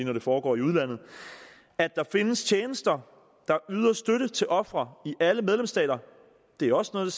når det foregår i udlandet at der findes tjenester der yder støtte til ofre i alle medlemsstater er også noget